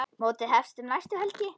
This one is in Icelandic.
Mótið hefst um næstu helgi.